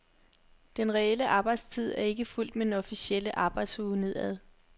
Den reelle arbejdstid er ikke fulgt med den officielle arbejdsuge nedad.